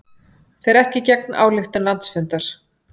Fer ekki gegn ályktun landsfundar